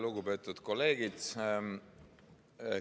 Lugupeetud kolleegid!